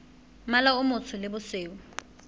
mmala o motsho le bosweu